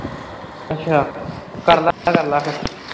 ਅੱਛਾ, ਕਰ ਲਾ ਕਰ ਲਾ ਫੇਰ।